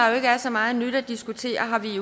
jo ikke er så meget nyt at diskutere har vi